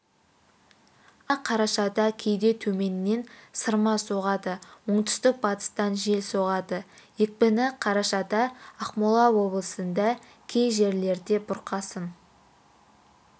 астана қарашада кейде төменнен сырма соғады оңтүстік-батыстан жел соғады екпіні қарашада ақмола облысында кей жерлерде бұрқасын